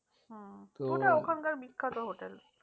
হম ওটা ওখানকার বিখ্যাত hotel